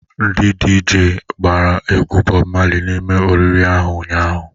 Ndi DJ gbara egwu Bob Marley n'ime oriri ahu ụnyahụ?